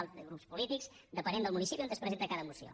dels grups polítics depenent del municipi on es presenta cada moció